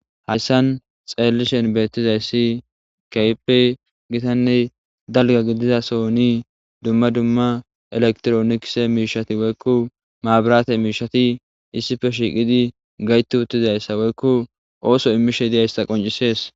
hayssan xeellishen beettizayssi kaype gitanne dalga gidizaso ni dumma dumma elektronikse miishati woykku maabarate miishati issife shiiqidi gayti uttizayssa woykku ooso immishe diyaysta qoncisees